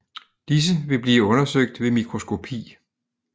Disse vil blive undersøgt ved mikroskopi